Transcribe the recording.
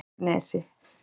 Kristnesi